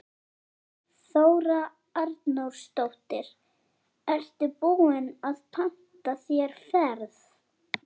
Þóra Arnórsdóttir: Ertu búinn að panta þér ferð?